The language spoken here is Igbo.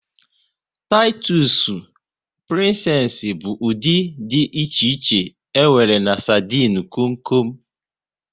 Titusu, Prinsess bụ ụdị dị iche iche e nwere na sardinu kom kom